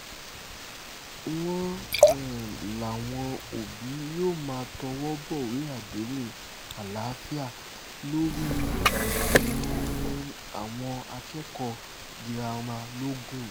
wọ́n um láwọn òbí yóò máa tọwọ́ bọ̀wé àdéhùn àlàáfíà lórí um àwọn akẹ́kọ̀ọ́ girama logun